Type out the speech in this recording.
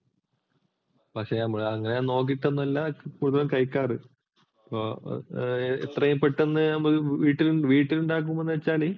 പക്ഷെ നമ്മളതൊന്നും നോക്കിയിട്ടല്ല പൊതുവെ കഴിക്കാറ്. ഇത്രെയും പെട്ടെന്ന് വീട്ടിലുണ്ടാക്കുകാന്നു വച്ചാല്